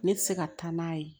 Ne tɛ se ka taa n'a ye